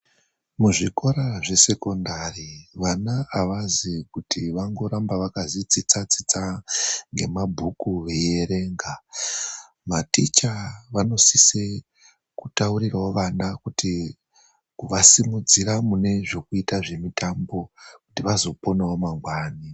Muzvikora zvesekondari vana avazi kuti vangoramba vakazi tsitsa tsitsa ngemabhuku veierenga. Maticha vanosise kutaurirawo vana kuti kuvasimudzira mune zvekuita zvemitambo kuti vazoponawo mangwani.